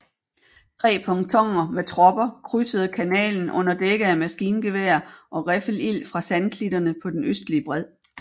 Tre pontoner med tropper krydsede kanalen under dække af maskingevær og riffelild fra sandklitterne på den østlige bred